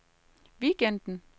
weekenden